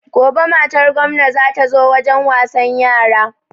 Gobe matar gomna za ta zo wajen wasan yara